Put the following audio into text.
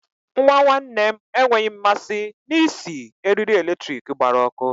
Nwa nwanne m enweghị mmasị na-isi eriri eletrik gbara ọkụ.